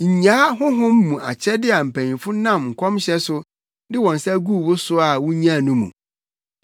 Nnyaa honhom mu akyɛde a mpanyimfo nam nkɔmhyɛ so de wɔn nsa guu wo so a wunyaa no mu.